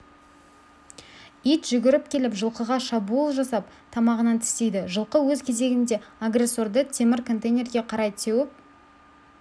ит жүгіріп келіп жылқыға шабуыл жасап тамағынан тістейді жылқы өз кезегінде агрессорды темір контейнерге қарай теуіп